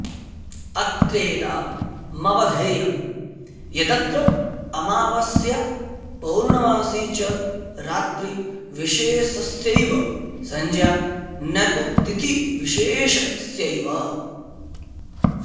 अत्रेदमवधेयं यदत्र अमावास्या पौर्णमासी च रात्रिविशेषस्यैव संज्ञा न तु तिथिविशेषस्यैव